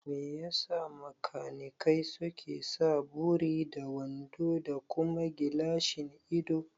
Mai yasa makanikai suke sa buri da wando da kuma gilashin ido?